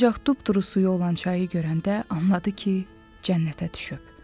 Ancaq dupduru suyu olan çayı görəndə anladı ki, cənnətə düşüb.